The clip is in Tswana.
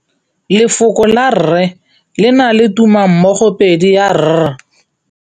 Lefoko la rre, le na le tumammogôpedi ya, r.